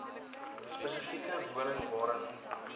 spesifieke woning waarin